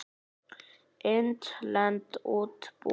Innlend útibú.